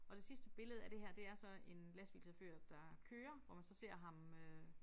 Og det sidste billede af det her det er så en lastbilchauffør der kører hvor man så ser ham øh